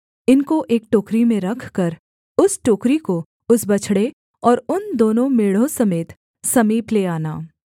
इनको एक टोकरी में रखकर उस टोकरी को उस बछड़े और उन दोनों मेढ़ों समेत समीप ले आना